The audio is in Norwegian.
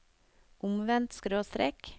omvendt skråstrek